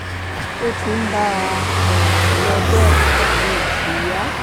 ó ti ń bá a um lọ bẹ́ẹ̀ ara mi ò sì yá